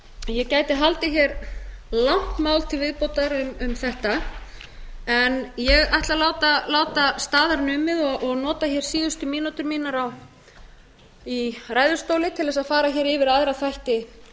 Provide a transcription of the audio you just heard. ég gæti haldið hér langt mál til viðbótar um þetta en ég ætla að láta staðar numið og nota síðustu mínútur mínar í ræðustóli til að fara yfir aðra þætti